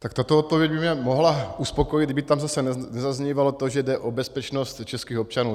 Tak tato odpověď by mě mohla uspokojit, kdyby tam zase nezaznívalo to, že jde o bezpečnost českých občanů.